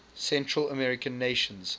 central american nations